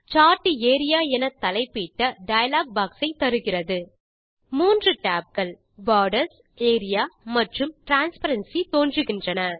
chart area என தலைப்பிட்ட dialog box ஐ தருகிறது 3 tab கள் போர்டர்ஸ் ஏரியா மற்றும் டிரான்ஸ்பரன்சி தோன்றுகின்றன